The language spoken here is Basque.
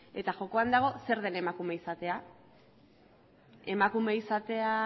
eta jokoan dago zer den emakume izatea emakume izatea